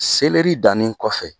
dannin kɔfɛ.